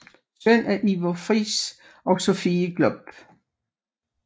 Søn af Iver Friis og Sophie Glob